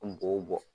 An b'o bɔ